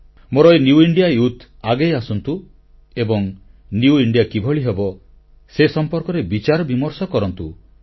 ମୋର ଏହି new India youth ଆଗେଇ ଆସନ୍ତୁ ଏବଂ ନିଉ ଇଣ୍ଡିଆ କିଭଳି ହେବ ସେ ସମ୍ପର୍କରେ ବିଚାର ବିମର୍ଷ କରନ୍ତୁ